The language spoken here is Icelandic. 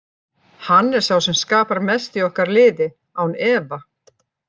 Hann er sá sem skapar mest í okkar liði, án efa.